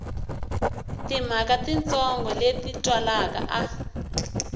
timhaka titsongo leti twalaka a